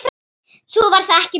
Svo var það ekki meir.